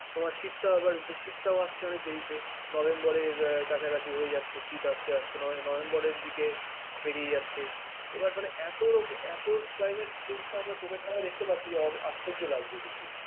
শীতটা আবার শীতটাও আসছে অনেক দেরিতে। নভেম্বরের কাছাকাছি হয়ে যাচ্ছে শীত আসতে আসতে নভেম্বরের দিকে পেরিয়ে যাচ্ছে । এবার মানে এত climate change টা আমরা চোখের সামনে দেখতে পাচ্ছি যে আশ্চর্য লাগছে দেখে